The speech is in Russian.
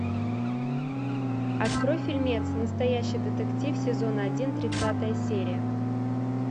открой фильмец настоящий детектив сезон один тридцатая серия